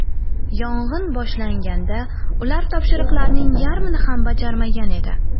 Yong‘in boshlanganda ular topshiriqlarning yarmini ham bajarmagan edi.